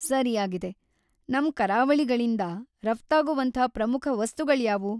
ಸರಿಯಾಗಿದೆ! ನಮ್‌ ಕರಾವಳಿಗಳಿಂದಾ ರಫ್ತಾಗೋವಂಥ ಪ್ರಮುಖ ವಸ್ತುಗಳ್ಯಾವು?